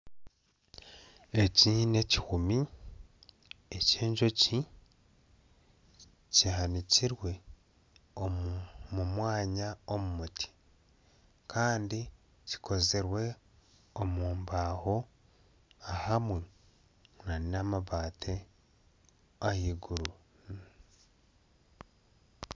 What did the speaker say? Eki n'ekihumi eky'enjoki kihanikirwe omu mwanya omu muti kandi kikozirwe omu mbaho ahamwe n'amabati ah'iguru.